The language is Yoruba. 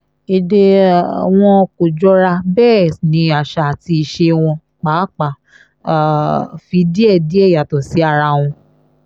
èdè um wọn kò jọra bẹ́ẹ̀ ni àṣà àti ìṣe wọn pàápàá um fi díẹ̀díẹ̀ yàtọ̀ sí ara wọn